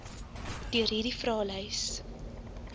deur hierdie vraelys